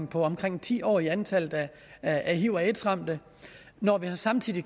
på omkring ti år i antallet af hiv og aids ramte når det samtidig